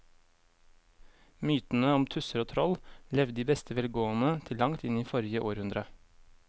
Mytene om tusser og troll levde i beste velgående til langt inn i forrige århundre.